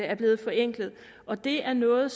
er blevet forenklet og det er noget